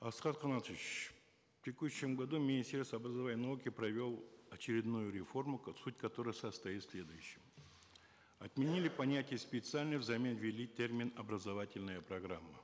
асхат канатович в текущем году министерство образования и науки провело очередную реформу суть которой состоит в следующем отменили понятие специальность взамен ввели термин образовательная программа